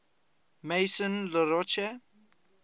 maison la roche